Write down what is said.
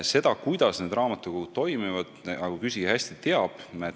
Seda, kuidas need raamatukogud toimivad, küsija küllap teab hästi.